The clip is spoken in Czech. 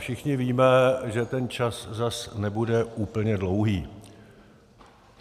Všichni víme, že ten čas tak nebude úplně dlouhý.